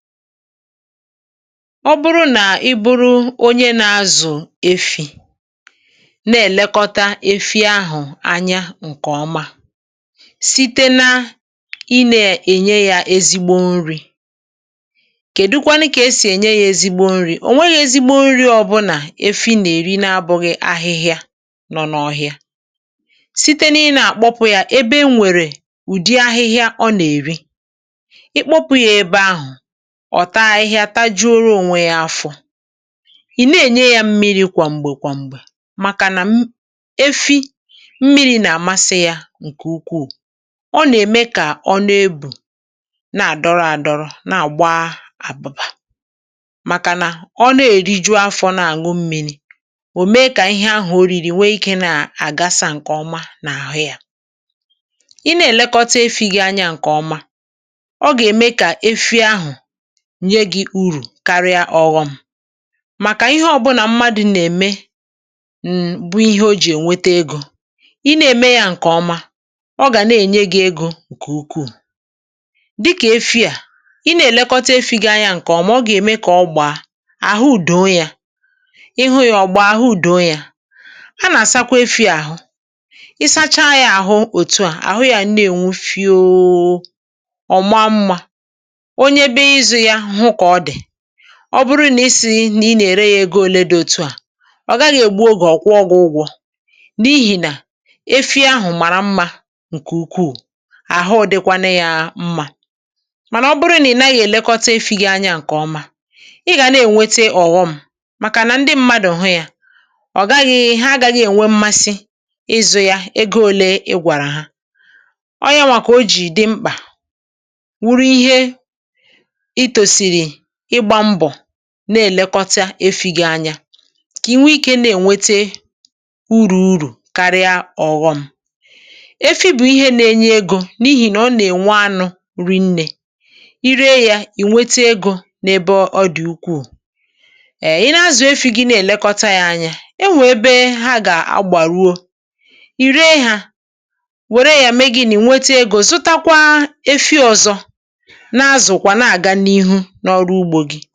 Ọ̀ bụrụ nà ị bụ̀rù onye na-azụ̀ efi̇, na-èlekọta efi ahụ̀ anya ǹkè ọma site n’ịnye yà ezigbo nri̇. Kèdụkwanụ kà esi enye yà ezigbo nri̇? Ò nweghị ezigbo nri̇ ọbụla efi na-èri bụ̀ghị ahịhịa nọ n’ọhịa. (ehm)Site n’ịkpọpụ̇ yà ebe e nwèrè ụdị ahịhịa ọ na-èri, i kpọpụ̇ yà ebe ahụ̀, ọ̀ taa ih hà, taji̇ro, ò nwe ya afọ̇. Ì na-enye yà mmiri̇ kwa mgbè, kwa mgbè, màkà nà efi mmiri̇ na-amasị yà ǹkè ukwuù. Ọ na-eme kà ọ n’ebù na-adọrọ̇, na-adọrọ̇, na-agba àbụbà, màkà nà ọ na-eriju̇ afọ̇ na-aṅụ mmiri̇. Ò mee kà ihe ahụ̀ òriri nwee ike na-agasà ǹkè ọma n’ahụ yà.Ì na-elekọta efi̇ gị anya ǹkè ọma, ọ gà-eme kà efi ahụ̀ nye gị̇ urù karịa ọghọm, màkà ihe ọ̀ bụ̀nà mmadụ̇ na-eme bụ ihe o ji enweta egò. hmm Ì na-eme yà ǹkè ọma, ọ gà na-enye gị̇ egò ǹkè ukwuù, dịkà efi a. Ì na-elekọta efi̇ gị ǹkè ọma, ọ gà-eme kà ọgbà ahụ̀ údòo yà ihu̇ yà. Ọ̀gbà ahụ̀ údòo yà a na-asakwa efi̇ ahụ̀, isacha yà ahụ, otu à, ahụ yà na-enwe fịọọ ọ̀ma mma.Ọ̀ bụrụ nà isi̇ nà ị na-ere yà, ego òlé dị otu a, ọ gaghị egbu. Ọ gà-akwà ụgwọ̇ n’ihi nà efi ahụ̀ mara mma ǹkè ukwuù. Ụdịkwanụ yà mma. Mànà ọ bụrụ nà ị naghị̀ elekọta efi̇ gị̀ anya ǹkè ọma, ị gà na-enweta ọghọm, màkà nà ndị mmadụ hụ yà, ọ̀ gaghị i ha, agaghị enwe mmasị ịzụ̇ yà, ego òlé i gwàrà ha. Ọ yà nwà. Kà o ji dị mkpà wuru ihe: na-elekọta efi̇ gị anya kà inwe ike na-ewete urù karịa ọghọm. um Efi̇ bụ̀ ihe na-enye egò, n’ihi nà ọ na-enwe anụ̇ rìnne. Ì ree yà, ì nwete egò n’ebe ọ dị̀ ukwuù. Èe, ì na-azụ̀ efi̇ gị, na-elekọta yà anya. E nwe ebe ha gà-agbà ruo. Ì ree yà, wèrè yà mee gị̇, nì nwete egò, zụtakwa efi̇ ọzọ n’àrụ́rụ́ ugbò gị.